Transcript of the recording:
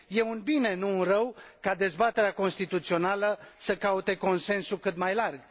e un bine, nu un rău, ca dezbaterea constituțională să caute consensul cât mai larg